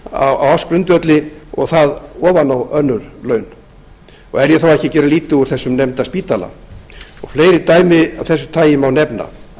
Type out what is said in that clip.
á ársgrundvelli og það ofan á önnur laun og er ég þá ekki að gera lítið úr þessum nefnda spítala fleiri dæmi af þessu tagi má nefna